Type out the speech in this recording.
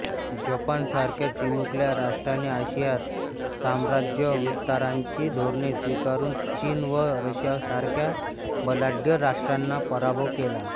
Japan सारख्या चिमुकल्या राष्ट्राने आशियात साम्राज्यविस्ताराची धोरणे स्वीकारून चीन व रशियासारख्या बलाढ्य राष्ट्रांचा पराभव केला